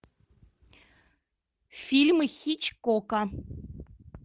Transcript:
фильмы хичкока